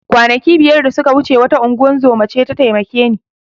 Kwanaki biyar da suka wuce wata ingozuma ce ta taimake ni